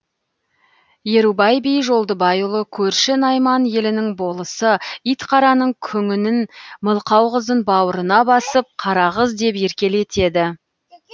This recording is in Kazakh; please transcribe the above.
ерубай би жолдыбайұлы көрші найман елінің болысы итқараның күңінің мылқау қызын бауырына басып қарақыз деп еркелетеді